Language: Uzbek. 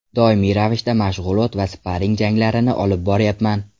Doimiy ravishda mashg‘ulot va sparring janglarini olib boryapman.